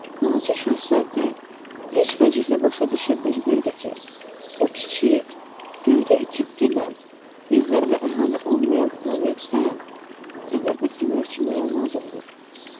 Balaca Şahzadə heç vəclə başa düşə bilmirdi ki, o kiçik, göydə itib gedən, evlər və əhali olmayan planetdə fənər və fənərçi nəyə lazımdır?